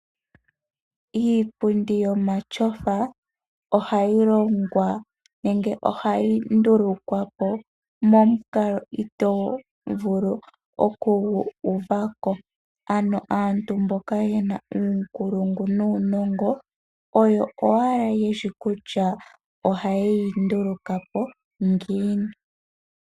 Iipundi yomatyofa ohayi longwa nenge ohayi ndulukwa po momukalo itoo vulu okugu uva ko. Aantu mboka ye na uunkulungu nuunongo oyo owala ye shi kutya ohaye yi nduluka po ngiini.